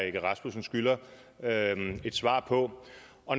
egge rasmussen skylder et svar på